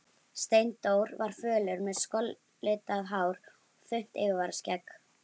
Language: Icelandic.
Steindór var fölur, með skollitað hár og þunnt yfirvararskegg.